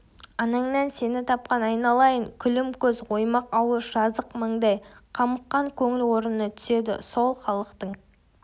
анаңнан сені тапқан айналайын күлім көз оймақ ауыз жазық маңдай қамыққан көңіл орнына түседі сол халықтың